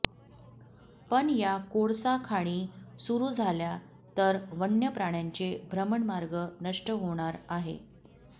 पण या कोळसा खाणी सुरु झाल्या तर वन्यप्राण्यांचे भ्रमणमार्ग नष्ट होणार आहे